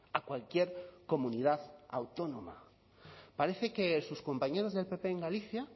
a cualquier comunidad autónoma parece que sus compañeros del pp en galicia